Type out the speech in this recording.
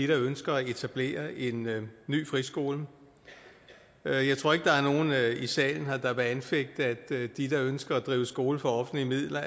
der ønsker at etablere en ny friskole jeg jeg tror ikke der er nogen her i salen der vil anfægte at de der ønsker at drive skole for offentlige midler